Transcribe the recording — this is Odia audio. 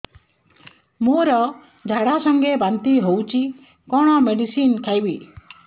ମୋର ଝାଡା ସଂଗେ ବାନ୍ତି ହଉଚି କଣ ମେଡିସିନ ଖାଇବି